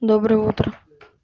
доброе утро